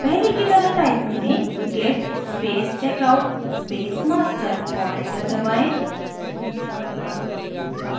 पहले की तरह type करें: git space checkout space master और enter दबाएँ